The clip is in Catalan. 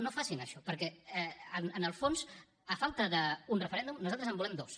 no facin això perquè en el fons a falta d’un referèndum nosaltres en volem dos